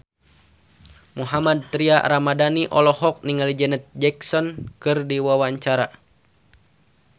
Mohammad Tria Ramadhani olohok ningali Janet Jackson keur diwawancara